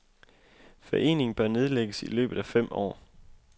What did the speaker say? Foreningen bør nedlægges i løbet af fem år.